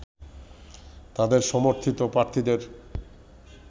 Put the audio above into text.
তাদের সমর্থিত প্রার্থীদের